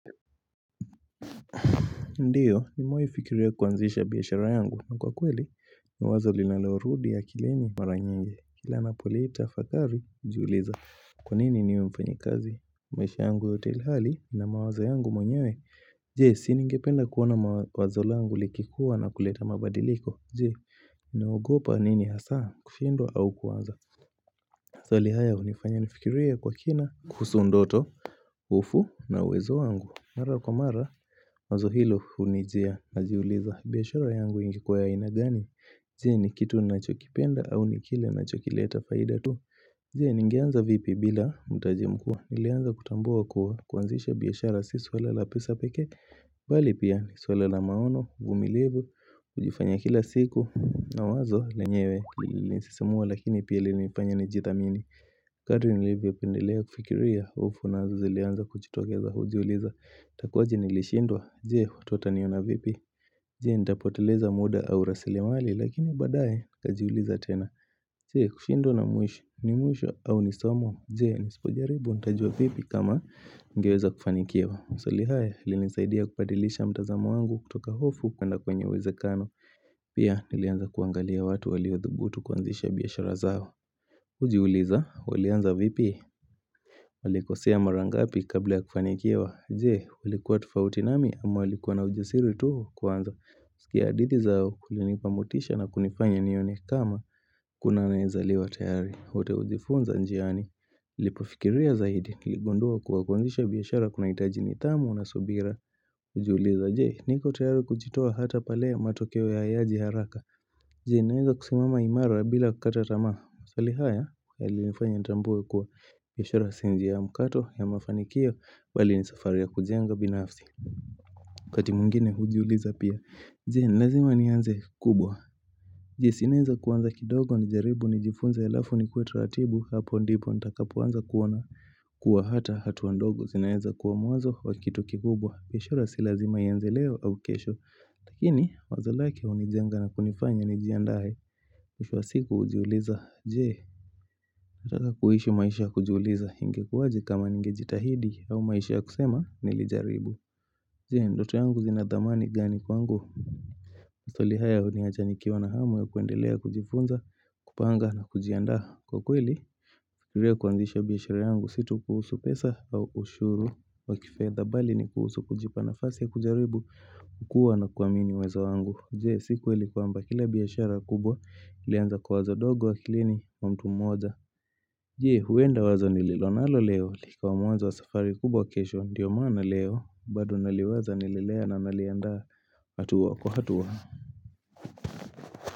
Ndiyo nimewahi fikiria kuanzisha biashara yangu na kwa kweli ni wazo linalorudi akilini mara nyingi kila ninapolitafakari hujiuliza Kwa nini niwe mfanyi kazi maisha yangu yote ilhali nina mawazo yangu mwenyewe je siningependa kuona mawazo langu likikuwa na kuleta mabadiliko je naogopa nini hasa kushindwa au kuanza maswali haya hunifanya nifikirie kwa kina kuhusu ndoto Upunguvu na uwezo wangu Mara kwa mara Wazo hilo hunijia Najiuliza biashara yangu ingekuwa ya aina gani je ni kitu ninachokipenda au nikile nachokileta faida tu je ningeanza vipi bila mtaji mkubwa Nilianza kutambua kuanzisha biashara Si swala la pesa pekee bali pia swala la maono uvumilivu hujifanya kila siku na wazo lenyewe Lilinisisimua lakini pia lilinifanya nijidhamini Kadri nilivyo endelea kufikiria hofu nazo zilianza kujitokeza hujiuliza. Itakuaje nilishindwa. Je, watu wataniona vipi. Je, nitapoteleza muda au rasli mali. Lakini baadaye, nikajiuliza tena. Je, kushindwa na mwisho. Ni mwisho au ni somo. Je, nisipo jaribu. Ntajua vipi kama ningeweza kufanikiwa. Maswali haya, yalinisaidia kubadilisha mtazamo wangu kutoka hofu. Kwenda kwenye uwezekano. Pia, nilianza kuangalia watu waliwaodhubutu kuanzisha biashara zao. Hujiuliza, walianza vipi walikosea mara ngapi kabla ya kufanikiwa Je, ulikuwa tofauti nami ama walikuwa na ujasiri tu wakuanza pia hadithi zao, kulinipa motisha na kunifanya nione kama hakuna anayezaliwa tayari wote hujifunza njiani nipofikiria zaidi, niligundua kuwa kuanzisha biashara kunahitaji nidhamu na subira hujiuliza, Je, niko tayari kujitoa hata pale matokeo hayaji haraka Je, naweza kusimama imara bila kukata tamaa maswali haya, halinifanya nitambue kuwa biashara si njia ya mkato ya mafanikio bali ni safari ya kujenga binafsi wakati mwingine hujiuliza pia Je, nilazima nianze kubwa Je, sinaweza kuanza kidogo nijaribu nijifunze alafu nikue taratibu Hapo ndipo nitakapoanza kuona kuwa hata hatua ndogo zinaweza kuwa mwanzo wakitu kikubwa biashara si lazima ianze leo au kesho Lakini, wazo lake hunijenga na kunifanya nijiandae mwisho wa siku hujiuliza, je, nataka kuishi maisha ya kujiuliza ingekuwaje kama ningejitahidi au maisha ya kusema nilijaribu. Je, ndoto yangu zinadhamani gani kwangu? Maswali haya huniacha nikiwa na hamu ya kuendelea kujifunza, kupanga na kujianda kwa kweli. Kufikiria kuanzisha biashara yangu si tu kuhusu pesa au ushuru wakifedha bali ni kuhusu kujipa nafasi ya kujaribu, kukua na kuamini uwezo wangu. Je si kweli kwamba kila biashara kubwa ilianza kwa wazo dogo akilini mwa mtu moja. Je huenda wazo nililonalo leo likawa mwanzo wa safari kubwa kesho ndiyo maana leo bado naliwaza nalilelea na naliandaa hatua kwa hatua.